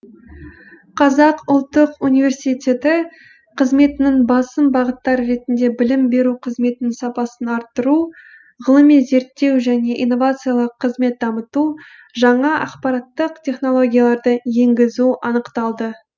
қазақ ұлттық университеті қызметінің басым бағыттары ретінде білім беру қызметінің сапасын арттыру ғылыми зерттеу және инновациялық қызметті дамыту жаңа ақпараттық технологияларды енгізу анықталды